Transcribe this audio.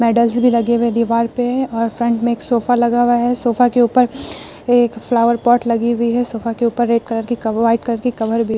medals भी लगे हुए दिवार पे है और फ्रंट में एक सोफा लगा हुआ है और सोफा के ऊपर एक फ्लावर पॉट लगी हुई है सोफा के ऊपर रेड कलर व्हाइट कलर की कवर भी --